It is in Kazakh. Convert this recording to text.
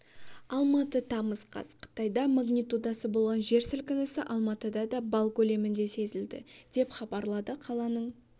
алматы тамыз қаз қытайда магнитудасы болған жер сілкінісі алматыда да балл көлемінде сезілді деп хабарлады қаланың